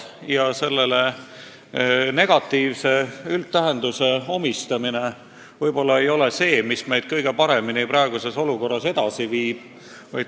Ja ega selle negatiivsuse üle kurtmine meid praeguses olukorras kõige paremini edasi ei viigi.